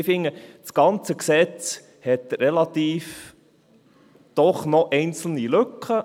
Ich finde, das ganze Gesetz hat doch noch einzelne Lücken.